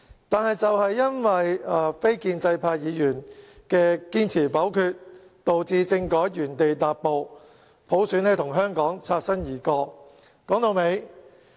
但是，正因為非建制派議員堅持否決政改方案，令政改原地踏步，普選與香港擦身而過。